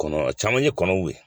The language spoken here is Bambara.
Kɔnɔ caman ye kɔnɔw ye